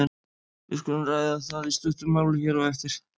Við skulum ræða það í stuttu máli hér á eftir.